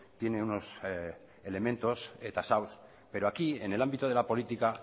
tiene unos elementos tasados pero aquí en el ámbito de la política